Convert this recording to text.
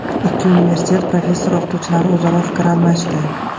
Ikki universitet professor-o‘qituvchilari o‘zaro fikr almashdi.